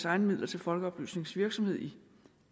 egne midler til folkeoplysningsvirksomhed i